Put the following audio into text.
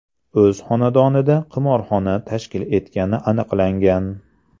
o‘z xonadonida qimorxona tashkil etgani aniqlangan.